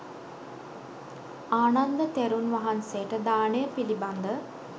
ආනන්ද තෙරුන් වහන්සේට දානය පිළිබඳ